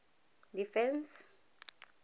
defence